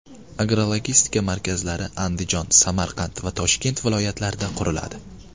Agrologistika markazlari Andijon, Samarqand va Toshkent viloyatlarida quriladi.